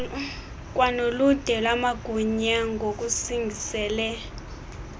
kwanoludwe lamagunya ngokusingisele